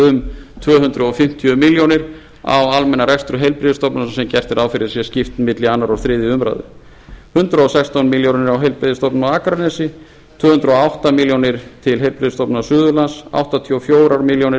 um tvö hundruð fimmtíu milljónir á almennan rekstur heilbrigðisstofnana sem gert er ráð fyrir sé skipt milli annars og þriðju umræðu hundrað og sextán milljónir á heilbrigðisstofnun á akranesi tvö hundruð og átta milljónir til heilbrigðisstofnunar suðurlands áttatíu og fjórar milljónir